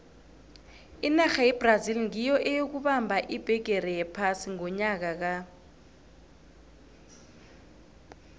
inarha yebrazil nyiyo eyokubamba ibhigiri yephasi ngonyaka ka